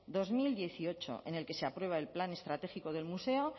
dos mil dieciocho en el que se aprueba el plan estratégico del museo